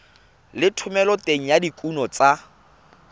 le thomeloteng ya dikuno tsa